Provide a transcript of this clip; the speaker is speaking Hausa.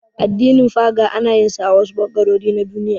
Addinin Faga ana yin sa a wasu ɓangarori na Duniya.